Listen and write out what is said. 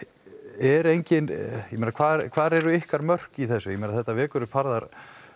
en hvar hvar eru ykkar mörk í þessu þetta vekur upp harða